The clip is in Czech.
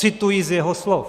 Cituji z jeho slov.